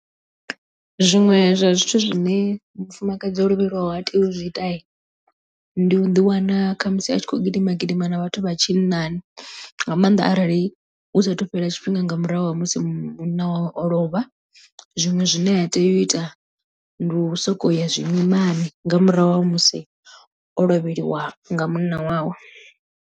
Zwiṅwe zwa zwithu zwine mufumakadzi o lovhelwaho ha tei u zwiita ndi u ḓi wana khamusi a tshi khou gidima gidima na vhathu vha tshinnani nga maanḓa arali hu sathu tshifhinga nga murahu ha musi munna wawe o lovha zwiṅwe zwine ha tei u ita ndi u sokou ya zwimimani nga murahu ha musi o lovheliwa nga munna wawe.